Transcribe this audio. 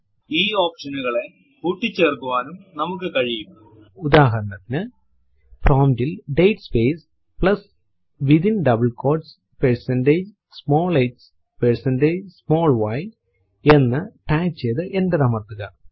ഈ option നുകളെ കൂട്ടിചേർക്കുവാനും നമുക്ക് കഴിയുംഉദാഹരണത്തിനു പ്രോംപ്റ്റ് ൽ date space plus within double quotes percentage small h percentage small y എന്ന് ടൈപ്പ് ചെയ്തു എന്റർ അമർത്തുക